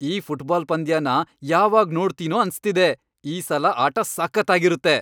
ಈ ಫುಟ್ಬಾಲ್ ಪಂದ್ಯನ ಯಾವಾಗ್ ನೋಡ್ತೀನೋ ಅನ್ಸ್ತಿದೆ! ಈ ಸಲ ಆಟ ಸಖತ್ತಾಗಿರತ್ತೆ!